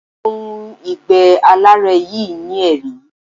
Ohun ìgbé-aláárẹ̀ yìí ní èérí.